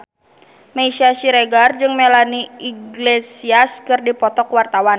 Meisya Siregar jeung Melanie Iglesias keur dipoto ku wartawan